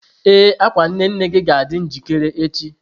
Ee, akwa nne nne gị ga-adị njikere echi.